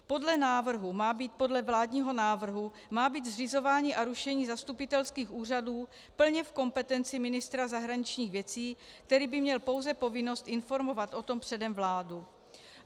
Podle vládního návrhu má být zřizování a rušení zastupitelských úřadů plně v kompetenci ministra zahraničních věcí, který by měl pouze povinnost informovat o tom předem vládu.